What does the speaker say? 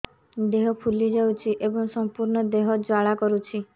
ଦେହ ଫୁଲି ଯାଉଛି ଏବଂ ସମ୍ପୂର୍ଣ୍ଣ ଦେହ ଜ୍ୱାଳା କରୁଛି